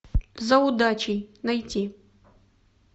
за удачей найти